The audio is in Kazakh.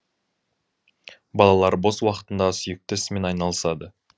балалар бос уақытында сүйікті ісімен айналысады